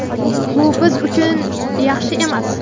Bu biz uchun yaxshi emas.